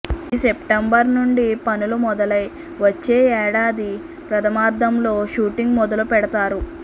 ఈ సెప్టెంబర్ నుండి పనులు మొదలై వచ్చే ఏడాది ప్రథామర్థంలో షూటింగ్ మొదలు పెడతారు